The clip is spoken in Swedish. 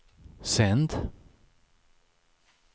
sänd